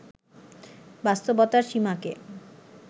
বাস্তবতার সীমাকে